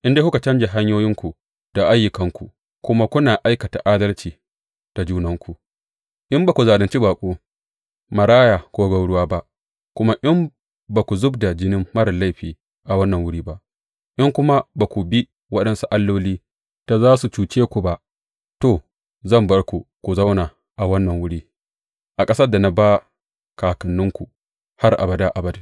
In dai kuka canja hanyoyinku da ayyukanku kuma kuna aikata adalci da junanku, in ba ku zalunci baƙo, maraya ko gwauruwa ba kuma in ba ku zub da jinin marar laifi a wannan wuri ba, in kuma ba ku bi waɗansu alloli da za su cuce ku ba, to, zan bar ku ku zauna a wannan wuri, a ƙasar da na ba kakanninku har abada abadin.